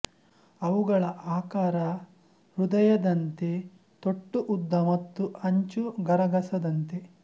ಅವುಗಳ ಆಕಾರ ಹೃದಯದಂತೆ ತೊಟ್ಟು ಉದ್ದ ಮತ್ತು ಅಂಚು ಗರಗಸದಂತೆ